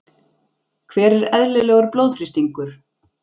Hver er eðlilegur blóðþrýstingur?